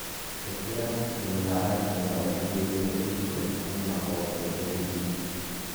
Ikĩra tũmĩharatĩ na ũtũiyũrie irio kuma o kĩambĩrĩria.